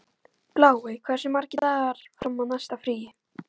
Bláey, hversu margir dagar fram að næsta fríi?